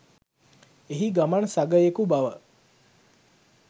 එහි ගමන් සගයෙකු බව